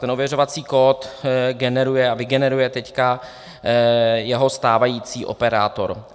Ten ověřovací kód generuje a vygeneruje teď jeho stávající operátor.